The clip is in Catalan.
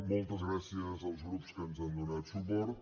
moltes gràcies als grups que ens han donat suport